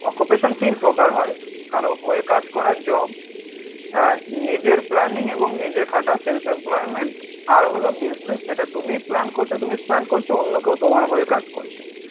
Occupation তিন প্রকার হয়. কারো হয়ে কাজ করা জব আহ নিজের প্ল্যানিং এবং নিজে খাটা সেলফ এমপ্লয়িমেন্ট আর হলো বিজনেস যেটা তুমি প্ল্যান করছো তুমি প্ল্যান করছো অন্য কেউ তোমার হয়ে কাজ করছে